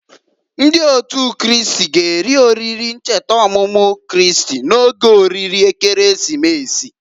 Ndị Otu Kristi g'eri oriri ncheta ọmụmụ Kristi n'oge oriri Ekeresimesi.